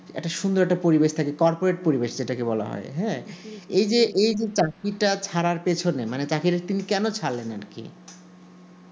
একটা সুন্দর একটা পরিবেশ থাকে corporated পরিবেশ যেটাকে বলা হয় হ্যা এই এইযে চাকরিটা ছাড়ার পেছনে মানে চাকরিটা তিনি কোনো ছাড়লেন আর কি